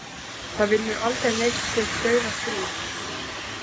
Það vinnur aldrei neinn sitt dauðastríð.